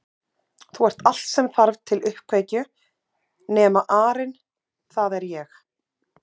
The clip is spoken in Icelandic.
Þú ert allt sem þarf til uppkveikju nema arinn það er ég